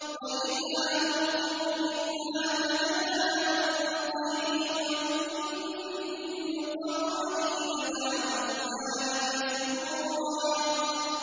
وَإِذَا أُلْقُوا مِنْهَا مَكَانًا ضَيِّقًا مُّقَرَّنِينَ دَعَوْا هُنَالِكَ ثُبُورًا